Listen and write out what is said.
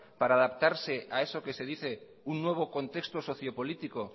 para adaptarse a eso que se dice un nuevo contexto socio político